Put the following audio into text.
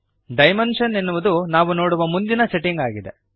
dimensions ಎನ್ನುವುದು ನಾವು ನೋಡುವ ಮುಂದಿನ ಸೆಟ್ಟಿಂಗ್ ಆಗಿದೆ